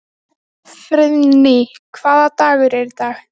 Katharina, ekki fórstu með þeim?